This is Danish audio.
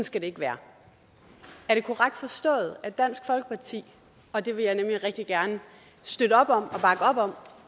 skal det ikke være er det korrekt forstået at dansk folkeparti og det vil jeg nemlig rigtig gerne støtte op om og bakke op om